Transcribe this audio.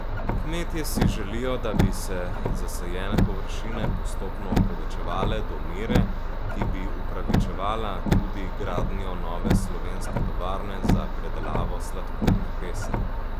Kmetje si želijo, da bi se zasajene površine postopno povečevale do mere, ki bi upravičevala tudi gradnjo nove slovenske tovarne za predelavo sladkorne pese.